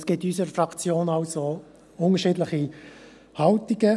Es gibt in unserer Fraktion also unterschiedliche Haltungen.